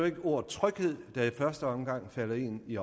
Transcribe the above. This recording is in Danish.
ikke ordet tryghed der i første omgang falder en i